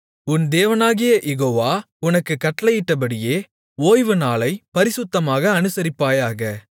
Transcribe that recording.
உன் தேவனாகிய யெகோவா உனக்குக் கட்டளையிட்டபடியே ஓய்வுநாளைப் பரிசுத்தமாக அனுசரிப்பாயாக